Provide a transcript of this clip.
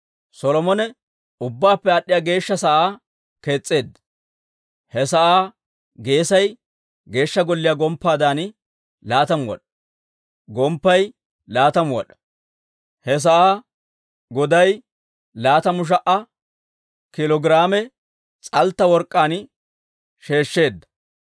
Solomone Ubbaappe Aad'd'iyaa Geeshsha sa'aa kees's'eedda. He sa'aa geesay Geeshsha Golliyaa gomppaadan laatamu wad'aa; gomppay laatamu wad'aa. He sa'aa godaa laatamu sha"a kiilo giraame s'altta work'k'aan sheeshsheedda.